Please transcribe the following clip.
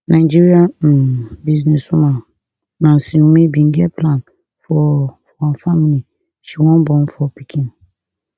nigerian um businesswoman nancy umeh bin get plan for for her family she wan born four pikin